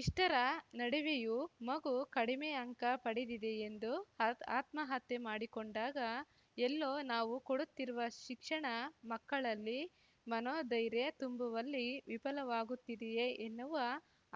ಇಷ್ಟರ ನಡುವೆಯೂ ಮಗು ಕಡಿಮೆ ಅಂಕ ಪಡೆದಿದೆ ಎಂದು ಆತ್ ಆತ್ಮಹತ್ಯೆ ಮಾಡಿಕೊಂಡಾಗ ಎಲ್ಲೋ ನಾವು ಕೊಡುತ್ತಿರುವ ಶಿಕ್ಷಣ ಮಕ್ಕಳಲ್ಲಿ ಮನೋಧೈರ್ಯ ತುಂಬುವಲ್ಲಿ ವಿಫಲವಾಗುತ್ತಿದೆಯೆ ಎನ್ನುವ